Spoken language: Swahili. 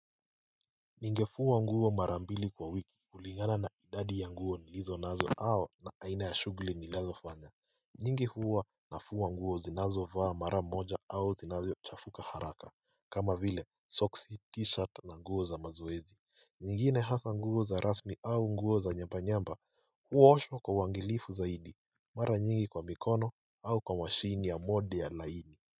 Ninge fua nguo marambili kwa wiki kulingana na idadi ya nguo nilizo nazo au aina ya shuguli nilizo fanya nyingi huwa na fua nguo ninazo vaa mara moja au zinazo chafuka haraka kama vile socks t-shirt na nguo za mazoei nyingine hasa nguo za rasmi au nguo za nyamba nyamba huwa naosho kwa wangilifu zaidi mara nyingi kwa mikono au kwa mashini ya modi ya laini.